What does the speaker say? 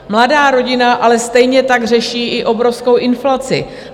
Mladá rodina ale stejně tak řeší i obrovskou inflaci.